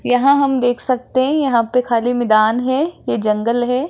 यहां हम देख सकते हैं यहां पे खाली मिदान है ये जंगल है।